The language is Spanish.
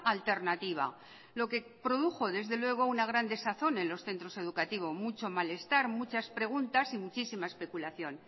alternativa lo que produjo desde luego una gran desazón en los centros educativos mucho mal estar muchas preguntas y muchísima especulación